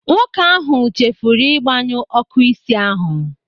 Nwoke ahụ chefuru ịgbanyu ọ́kụ́ isi ahụ.